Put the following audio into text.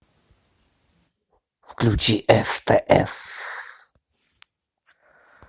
включи стс